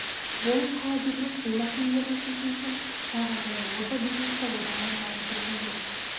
болып қала бермек бұл мәселелерді шешу үшін шағын және орта бизнесті одан әрі дамыту қажет